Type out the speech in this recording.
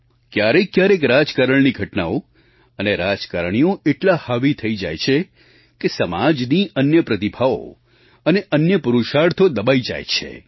ક્યારેકક્યારેક રાજકારણની ઘટનાઓ અને રાજકારણીઓ એટલાં હાવી થઈ જાય છે કે સમાજની અન્ય પ્રતિભાઓ અને અન્ય પુરુષાર્થો દબાઈ જાય છે